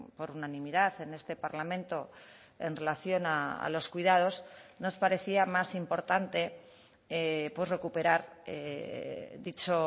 por unanimidad en este parlamento en relación a los cuidados nos parecía más importante recuperar dicho